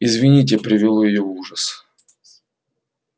известие привело её в ужас